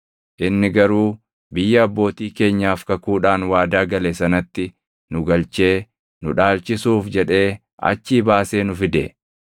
Inni garuu biyya abbootii keenyaaf kakuudhaan waadaa gale sanatti nu galchee nu dhaalchisuuf jedhee achii baasee nu fide.